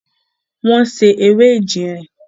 wọ́n se “ewé ejìnrìn”.